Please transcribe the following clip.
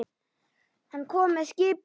Hann kom með skipi.